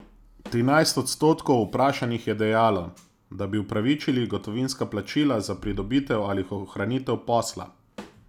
Trinajst odstotkov vprašanih je dejalo, da bi upravičili gotovinska plačila za pridobitev ali ohranitev posla.